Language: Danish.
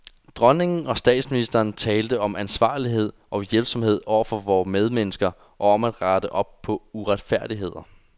Dronningen og statsministeren talte om ansvarlighed og hjælpsomhed over for vore medmennesker, og om at rette op på uretfærdigheder.